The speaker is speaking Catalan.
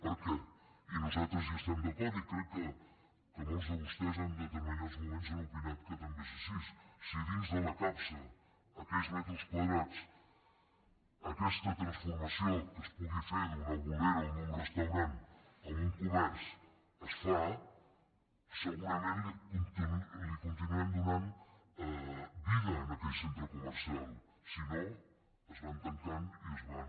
perquè i nosaltres hi estem d’acord i crec que molts de vostès en determinats moments han opinat que també és així si dins de la capsa aquells metres quadrats aquesta transformació que es pugui fer d’una bolera o d’un restaurant en un comerç es fa segurament li continuem donant vida a aquell centre comercial si no es van tancant i es van